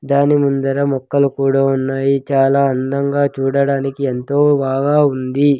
దాని ముందర మొక్కలు కూడా ఉన్నాయి చాలా అందంగా చూడడానికి ఎంతో బాగా వుందీ.